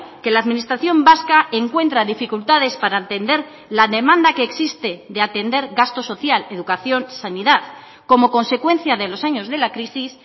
que la administración vasca encuentra dificultades para entender la demanda que existe de atender gasto social educación sanidad como consecuencia de los años de la crisis